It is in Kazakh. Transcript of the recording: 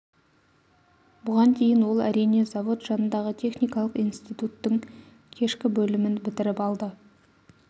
бұған дейін ол әрине завод жанындағы текникалық институттың кешкі бөлімін бітіріп алды